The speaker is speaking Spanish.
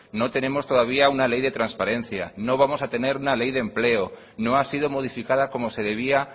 no tenemos todavía una ley de transparencia no vamos a tener una ley de empleo no ha sido modificada como se debía